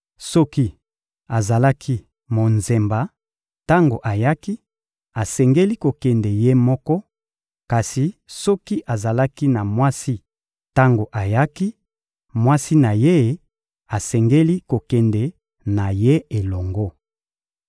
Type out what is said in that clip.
Soki azalaki monzemba tango ayaki, asengeli kokende ye moko; kasi soki azalaki na mwasi tango ayaki, mwasi na ye asengeli kokende na ye elongo.